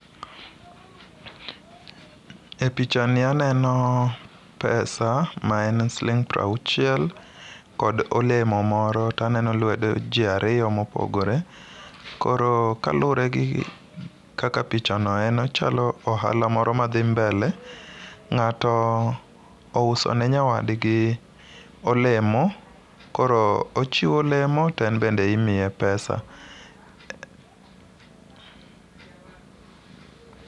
E pichani aneno pesa ma en sling' prauchiel kod olemo moro taneno lwedo ji ariyo moogore ,koro kalure gi kaka pichano en ochalo ohala moro madhi mbele. ng'ato ouso ne nyawadgi olemo, koro ochiwo olemo to en bende imiye pesa.